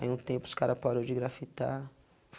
Aí um tempo os cara parou de grafitar.